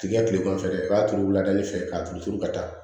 Tigɛ tilegan fɛ i b'a turu wulada de fɛ k'a turu turu ka taa